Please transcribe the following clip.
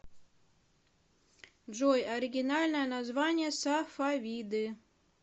джой оригинальное название сафавиды